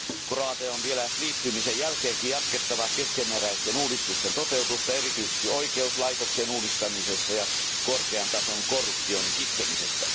Kroatian on vielä liittymisen jälkeenkin jatkettava keskeneräisten uudistusten toteutusta erityisesti oikeuslaitoksen uudistamisessa ja korkean tason korruption kitkemisessä.